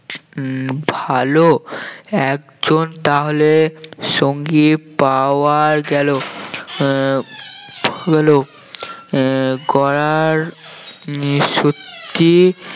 উম ভালো একজন তাহলে সঙ্গী পাওয়া গেল আহ আহ গড়ার নিশুতি